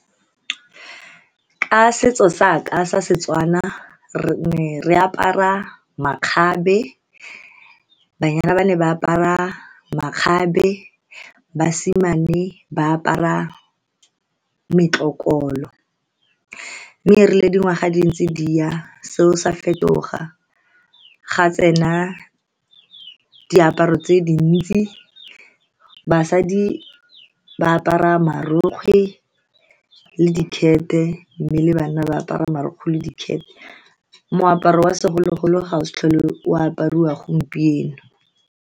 Ka setso sa ka sa Setswana, re ne re apara makgabe. Banyana ba ne ba apara makgabe, basimane ba apara metlokolo. Mme erile dingwaga di ntse di ya, seo sa fetoga. Ga tsena diaparo tse dintsi, basadi ba apara marokgwe le di , mme le banna ba apara marokgwe le di . Moaparo wa segologolo ga o sa tlhole o apariwa gompieno.